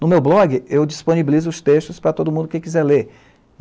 No meu blog, eu disponibilizo os textos para todo mundo que quiser ler.